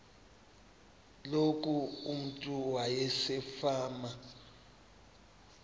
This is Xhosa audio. loku umntu wasefama